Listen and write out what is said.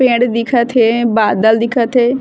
पेड़ दिखत हें बादल दिखत हे।